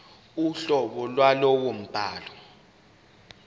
uhlobo lwalowo mbhalo